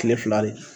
Kile fila de